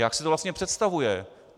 Jak si to vlastně představuje?